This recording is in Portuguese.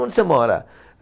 Onde você mora?